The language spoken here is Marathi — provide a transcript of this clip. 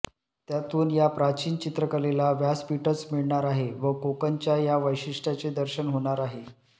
त्यातून या प्राचीन चित्रकलेला व्यासपीठच मिळणार आहे व कोकणच्या या वैशिष्टयाचे दर्शन होणार आहे